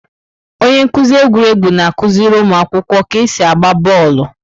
Onye nkuzi egwuregwu na-akụziri ụmụ akwụkwọ ka esi agba bọọlụ.